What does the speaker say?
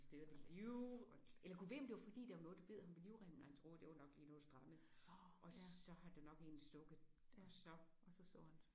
Ved liv eller Gud ved om der var fordi der var noget der bed ham ved livremmen og han troede der var nok lige noget der strammede og så har det nok egentlig stukket og så